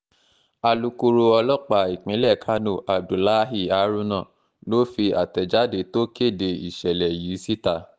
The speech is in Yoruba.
alūkkóró ọlọ́pàá ìpínlẹ̀ kánó abdullahi haruna ló fi àtẹ̀jáde tó kéde ìṣẹ̀lẹ̀ yìí síta